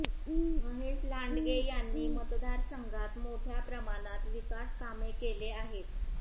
महेश लांडगे यांनी मतदारसंघात मोठ्या प्रमाणात विकासकामे केले आहेत